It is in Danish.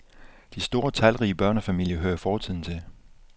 De store talrige børnefamilier hører fortiden til.